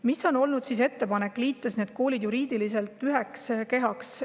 Millised on olnud ettepanekud neid koole juriidiliselt üheks kehaks liites?